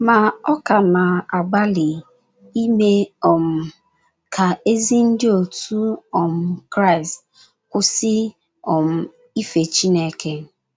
Ma ọ ka na - agbalị ime um ka ezi Ndị otu um Kraịst kwụsị um ife Chineke.